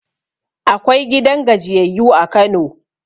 Akwai gidan gajiyayyu a Kano